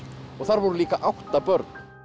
og þar voru líka átta börn